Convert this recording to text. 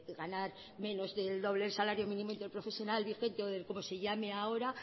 ganar menos del doble del salario mínimo interprofesional vigente o como se llame ahora